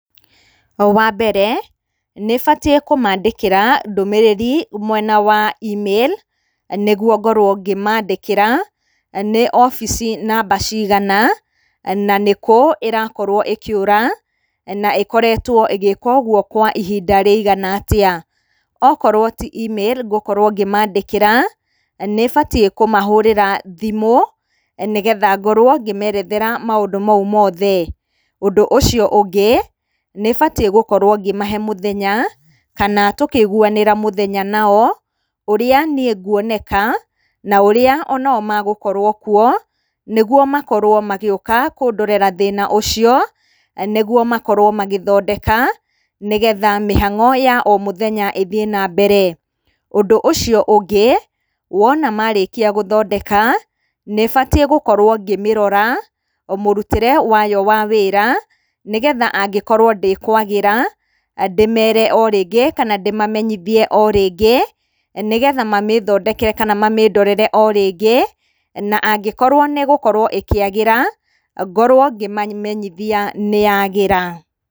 Wa mbere, nĩ batiĩ kũmaandĩkĩra ndũmĩrĩri mwena wa e-mail nĩguo ngorwo ngĩmaandĩkĩra nĩ obici namba cigana na nĩ kũũ ĩrakorwo ĩkĩũra, na ĩkoretwo ĩgĩĩka ũguo kwa ihinda rĩigana atĩa. Okorwo ti e-mail ngũkorwo ngĩmaandĩkĩra, nĩ batiĩ kũmahũrĩra thimũ nĩgetha ngorwo ngĩmeerethera maũndũ mau mothe. Ũndũ ũcio ũngĩ, nĩ batiĩ gũkorwo ngĩmahe mũthenya kana tũkĩiguanĩra mũthenya nao, ũrĩa niĩ nguoneka na ũria o nao magũkorwo kuo nĩguo makorwo magĩũka kũndorera thĩna ũcio nĩguo makorwo magĩthondeka nĩgetha mĩhang'o ya o mũthenya ũthiĩ nambere. Ũndũ ũcio ũngĩ, wona maarĩkia gũthondeka, nĩ batiĩ gũkorwo ngĩmĩrora mũrutĩre wayo wa wĩra nĩgetha angĩkorwo ndĩkũagĩra, ndĩmeere o rĩngĩ kana ndĩmamenyithie o rĩngĩ, nĩgetha mamĩĩthondeke kana mamĩĩndorere o rĩngĩ, na angĩkorwo nĩ ĩgũkorwo ĩkĩagĩra, ngorwo ngĩmamenyithia nĩ ya agĩra.